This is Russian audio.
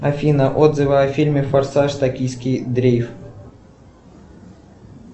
афина отзывы о фильме форсаж токийский дрифт